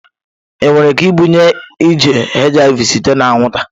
Enwere ike ibunye nje HIV site na anwụnta?